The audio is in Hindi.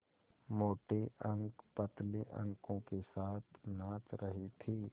मोटे अंक पतले अंकों के साथ नाच रहे थे